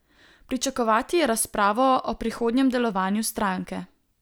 Pričakovati je razpravo o prihodnjem delovanju stranke.